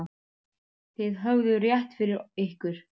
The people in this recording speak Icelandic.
Þið höfðuð rétt fyrir ykkur.